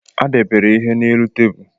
A debere ihe n'elu tebụlụ